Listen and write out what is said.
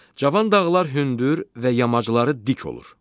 Cavan dağlar hündür və yamacları dik olur.